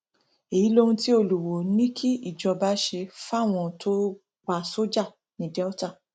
èyí lohun tí olùwoò ní kíjọba ṣe fáwọn tó pa sójà ní delta